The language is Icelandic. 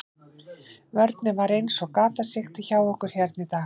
Vörnin var eins og gatasigti hjá okkur hérna í dag.